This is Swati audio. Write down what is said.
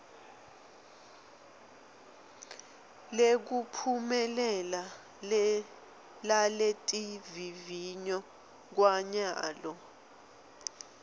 lekuphumelela laletivivinyo kwanyalo